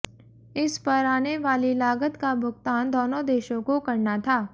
इस पर आने वाली लागत का भुगतान दोनों देशों को करना था